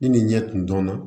Ni nin ɲɛ tun dɔn na